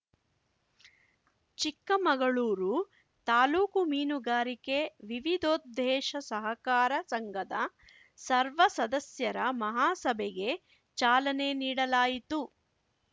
ಚಿಕ್ಕಮಗಳೂರು ತಾಲೂಕು ಮೀನುಗಾರಿಕೆ ವಿವಿಧೋದ್ದೇಶ ಸಹಕಾರ ಸಂಘದ ಸರ್ವ ಸದಸ್ಯರ ಮಹಾಸಭೆಗೆ ಚಾಲನೆ ನೀಡಲಾಯಿತು